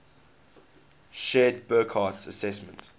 shared burckhardt's assessment